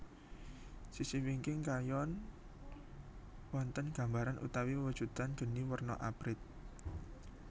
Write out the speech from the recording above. Sisih wingking kayon wonten gambaran utawi wewujudan geni warna abrit